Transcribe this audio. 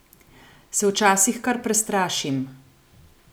Se včasih kar prestrašim.